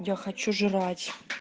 я хочу жрать